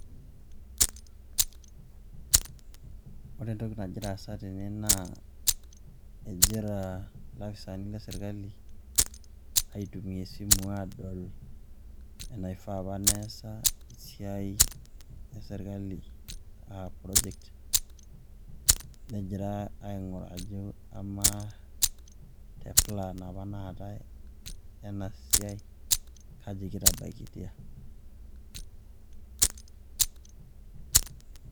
Ore entoki nagira aasa tene naa egira ilopisaani le sirkali aitumia esimu adol enaifaa apa neesa esiai e sirkali a project, negirai aing'uraa ajo amaa te plan apa naatai ena siai kaji kitabaikitia.